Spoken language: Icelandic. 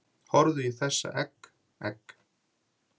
Horfðu í þessa egg, egg